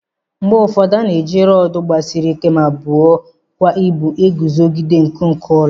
Mgbe ụfọdụ a na-eji rọọdụ gbasiri ike ma buo kwa ibu eguzogide nkuku ụlọ.